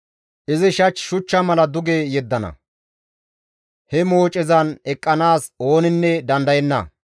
Izi shach shuchcha mala duge yeddana; he moocezan eqqanaas ooninne dandayenna.